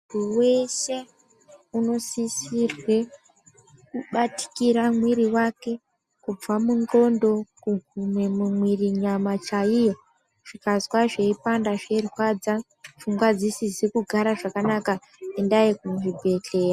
Munthu weshe unosisirwe kubatikira mwiri wake kubva mundxondo kuguma mumwiri nyama chaiyo. Ukazwa zveipanda zveirwadza pfungwa dzisizi kugara zvakanaka endai kuchibhedhlera.